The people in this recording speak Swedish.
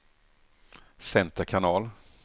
center kanal